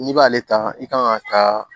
N'i b'ale ta i kan ka taa